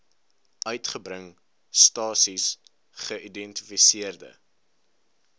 uitgebring stasies geïdentifiseerde